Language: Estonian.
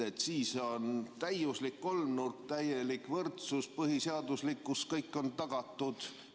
Siis on täiuslik kolmnurk, täielik võrdsus ja põhiseaduslikkus on tagatud.